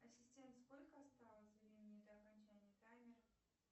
ассистент сколько осталось времени до окончания таймера